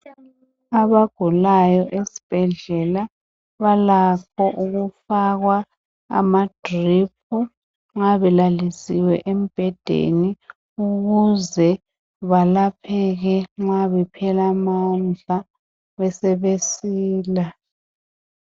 Abagulayo esibhedlela balakho ukufakwa amadrip nxa belalisiwe embhedeni ukuze belapheke nxa bephela amandla besebesila.